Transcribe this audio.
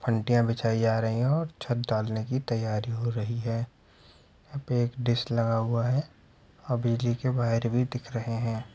बिछाई जा रही है ओर छत डालने की तैयारी हो रही है| यहाँ पे एक डिश लगा हुआ है| हवेली के वायर भी दिख रहे है|